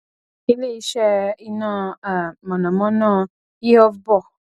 ileiṣẹ iná um mọnamọná ihovbor